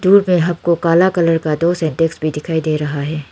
दूर में हमको काला कलर का दो सिंटेक्स भी दिखाई दे रहा है।